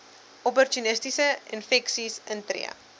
opportunistiese infeksies intree